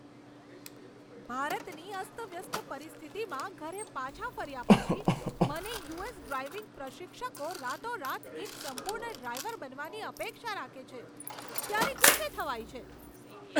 ભારતની અસ્તવ્યસ્ત પરિસ્થિતિમાં ઘરે પાછા ફર્યા પછી મને યુ.એસ. ડ્રાઇવિંગ પ્રશિક્ષકો રાતોરાત એક સંપૂર્ણ ડ્રાઇવર બનવાની અપેક્ષા રાખે છે, ત્યારે ગુસ્સે થવાય છે.